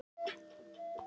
Hrísbraut